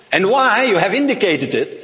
York. And you have indicated